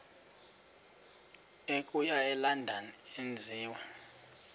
okuya elondon enziwe